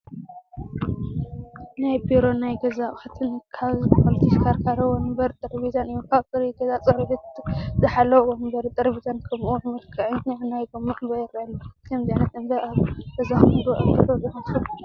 ናይ ቢሮን ናይ ገዛ ኣቑሑት ካብ ዝባሃሉ ተሽከርካሪ ወንበር፣ ጠረጴዛን እዮም፡፡ ኣብ ፁሩይ ገዛ ፅሬቱ ዝሓለወ ወንበርን ጠረጴዛን ከምኡ ውን መልከዐኛ ናይ ጎማ ዕምበባ ይራኣዩ ኣለው፡፡ ከምዚ ዓይነት ዕምበባ ኣብ ገዛኹም ዶ ኣብ ቢሮኹም ክትሪኡ ትፈትው?